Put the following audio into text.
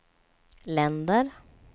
länder